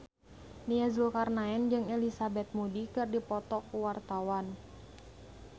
Nia Zulkarnaen jeung Elizabeth Moody keur dipoto ku wartawan